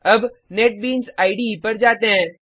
अब NetBeans IDE पर जाते हैं